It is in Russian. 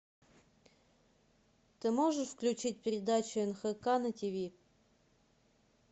ты можешь включить передачу нхк на тиви